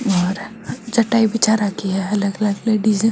और चटाई बिछा राखी है अलग अलग लेडिस है।